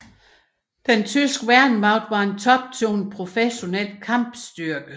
Den tyske værnemagt var en toptunet professionel kampstyrke